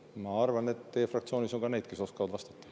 Ma arvan, et teie fraktsioonis on ka neid, kes oskavad vastata.